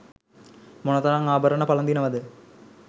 මොනතරම් ආභරණ පළඳිනවද?